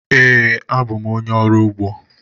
Ee, abụ m onye ọrụ ugbo.